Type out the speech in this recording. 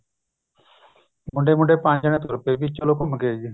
ਮੁੰਡੇ ਮੁੰਡੇ ਪੰਜ ਜਾਣੇ ਤੁਰ ਪਏ ਵੀ ਚਲੋ ਘੁੰਮ ਕੇ ਆਈਏ